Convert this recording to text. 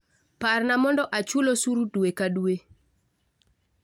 Parna mondo achul osuru dwe ka dwe